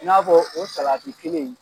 I n'a fɔ o salati kelen in